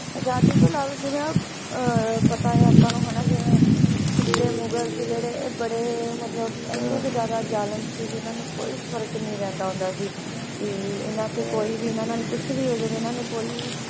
ਆਜ਼ਾਦੀ ਤੋਂ ਇਲਾਵਾ ਜਿਵੇਂ ਅਹ ਪਤਾ ਹੈ ਆਪਾਂ ਨੂੰ ਹਨਾ ਜਿਵੇਂ ਪਿੱਛਲੇ ਮੁਗਲ ਸੀ ਜਿਹੜੇ ਇਹ ਬੜੇ ਮਤਲਬ ਇੰਨੇ ਕੁ ਜ਼ਿਆਦਾ ਜ਼ਾਲਮ ਸੀ ਵੀ ਇਹਨਾਂ ਨੂੰ ਕੋਈ ਫ਼ਰਕ ਨੀ ਪੈਂਦਾ ਹੁੰਦਾ ਸੀ, ਵੀ ਇਹਨਾਂ ਤੇ ਕੋਈ ਵੀ ਇਹਨਾਂ ਨਾਲ ਕੁਛ ਵੀ ਹੋ ਜਾਵੇ ਇਹਨਾਂ ਨੂੰ ਕੋਈ